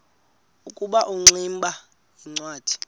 ukuba ingximba yincwadi